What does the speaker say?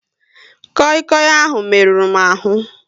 Koi Koi ahụ merụrụ m ahu